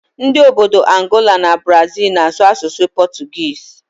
Ndị obodo Angola na Brazịl na-asụ asụsụ pọtụgiizi